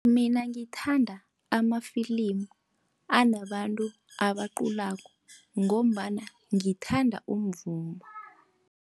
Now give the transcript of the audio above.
Mina ngithanda amafilimu anabantu abaculako, ngombana ngithanda umvumo.